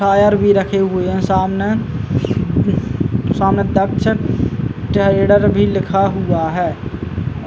Tyre भी रखे हुए हैं सामने। सामने ट्रैडर भी लिखा हुआ है।